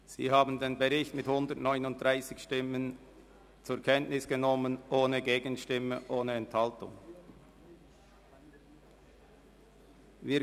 Sie haben den Bericht mit 139 Stimmen ohne Gegenstimme und ohne Enthaltung zur Kenntnis genommen.